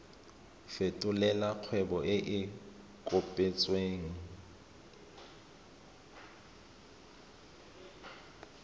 fetolela kgwebo e e kopetswengcc